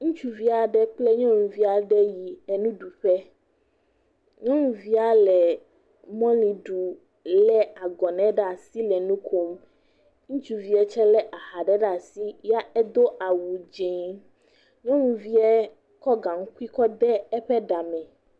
Ŋutsuvi aɖe kple nyɔnuvi aɖe yi enuɖuƒe. Nyɔnuvia le mɔlu ɖu lé agɔnŋ ɖe asi le nu kom. ŋutsuviɛ tsɛ lé aha ɖe ɖe asi yɛ edo awu dzẽe. Nyɔnuviɛ kɔ gaŋkui kɔ de eƒe ɖame.